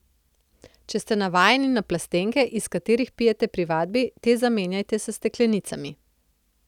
Če ste navajeni na plastenke, iz katerih pijete pri vadbi, te zamenjajte s steklenicami.